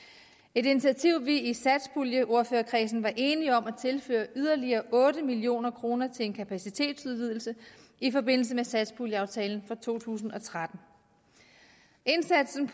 et initiativ vi i satspuljeordførerkredsen var enige om at tilføre yderligere otte million kroner til en kapacitetsudvidelse i forbindelse med satspuljeaftalen for to tusind og tretten indsatsen